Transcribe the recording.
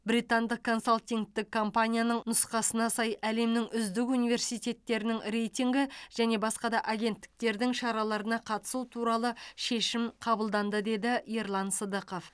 британдық консалтингтік компанияның нұсқасына сай әлемнің үздік университеттерінің рейтинг және басқа да агентіктердің шараларына қатысту туралы шешім қабылданды деді ерлан сыдықов